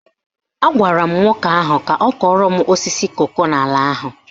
Agwara m nwoke ahụ ka ọ kọrọ m osisi koko n'ala ahụ